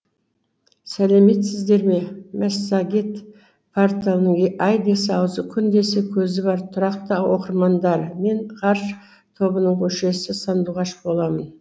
сәлеметсіздерме мәссагет порталының ай десе аузы күн десе көзі бар тұрақты оқырмандары мен ғарыш тобының мүшесі сандуғаш боламын